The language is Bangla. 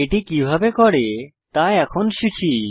এটি কিভাবে করি তা এখন শিখি